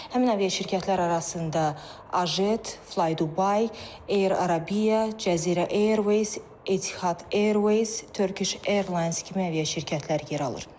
Həmin aviaşirkətlər arasında Ajet, Flydubai, Air Arabia, Cəzirə Airways, Etihad Airways, Turkish Airlines kimi aviaşirkətlər yer alır.